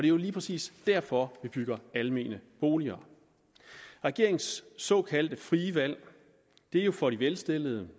jo lige præcis derfor vi bygger almene boliger regeringens såkaldte frie valg er for de velstillede